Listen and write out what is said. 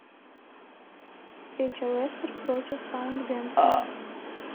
встреча лестер против саутгемптон